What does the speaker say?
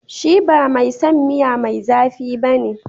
Shi ba mai son miya mai zafi ba ne.